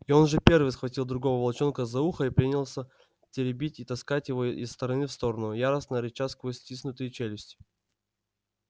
и он же первый схватил другого волчонка за ухо и принялся теребить и таскать его из стороны в сторону яростно рыча сквозь стиснутые челюсти